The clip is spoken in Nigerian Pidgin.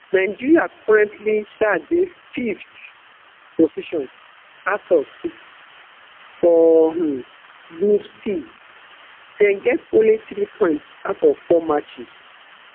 nigeria currently um dey fiveth position out of six for um group c dem get only three points out of four matches